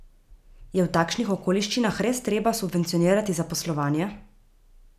Je v takšnih okoliščinah res treba subvencionirati zaposlovanje?